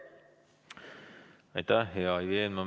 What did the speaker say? Aitäh, hea Ivi Eenmaa!